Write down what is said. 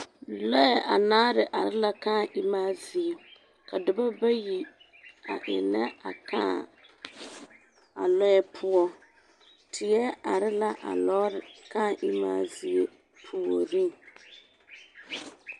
Lɔɛ anaare are la lɔɛ kãã emaa zie, ka dɔbɔ bayi a ennɛ a kãã a lɔɛ poɔ, teɛ are la a lɔɔre kãã emaa zie puoriŋ.